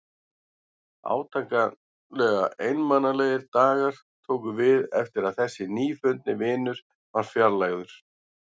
Átakanlega einmanalegir dagar tóku við eftir að þessi nýfundni vinur var fjarlægður.